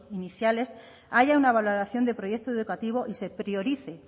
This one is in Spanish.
iniciales haya una valoración de proyecto educativo y se priorice